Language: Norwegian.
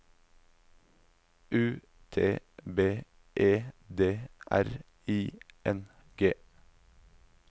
U T B E D R I N G